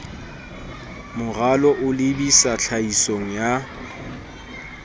moralo o lebisa tlhahisong ya